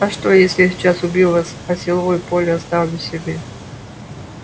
а что если я сейчас убью вас а силовое поле оставлю себе